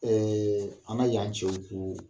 Ɛɛ an ka yan cɛw ko